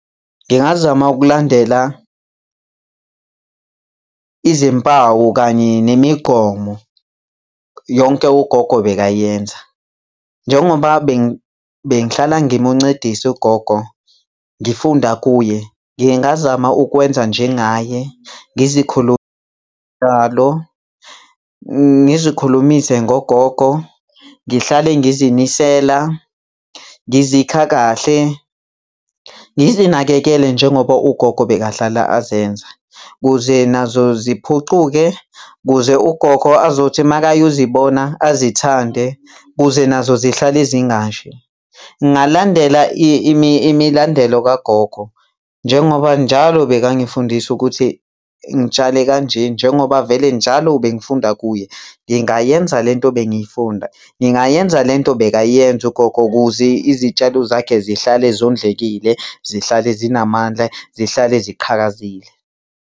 Ngingazama ukulandela izimpawu kanye nemigomo yonke ugogo bekayenza. Njengoba bengihlala ngimuncedisa ugogo, ngifunda kuye ngingazama ukwenza njengaye, ngizikhulumise ngogogo, ngihlale ngizinisela, ngizikha kahle, ngizinakekele njengoba ugogo bekahlala azenza, kuze nazo ziphucuke, kuze ugogo azothi uma ayozibona ezithande, kuze nazo zihlale zingashi. Ngingalandela imilandelo kagogo. Njengoba njalo bekangifundisa ukuthi ngitshale kanje. Njengoba vele njalo bengifunda kuye. Ngingayenza lento bengiyifunda, ngingayenza lento bekayenza ugogo kuze izitshalo zakhe zihlale zondlekile, zihlale zinamandla, zihlale ziqhakazile.